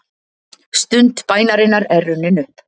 Stund bænarinnar er runnin upp.